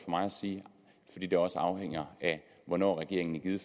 mig at sige fordi det også afhænger af hvornår regeringen i